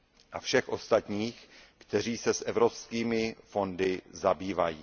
a všech ostatních, kteří se evropskými fondy zabývají.